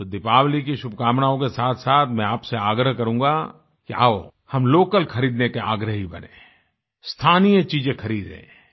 तो दीपावली की शुभकामनाओं के साथसाथ मैं आपसे आग्रह करूँगा कि आओ हम लोकल खरीदने के आग्रही बनें स्थानीय चीजें खरीदें